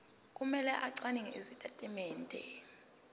kumele acwaninge izitatimende